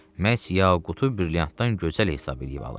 Məhz yaqutu brilyantdan gözəl hesab eləyib alıb.